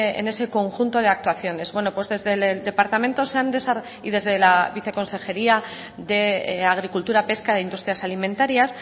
en ese conjunto de actuaciones bueno pues desde el departamento y desde la viceconsejería de agricultura pesca e industrias alimentarias